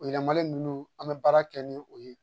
O yɛlɛmali nunnu an be baara kɛ ni o ye